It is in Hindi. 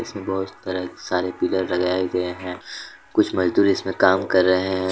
बहुत सारे पिलर लगाए गए है कुछ मजदूर इसमें काम कर रहे हैं।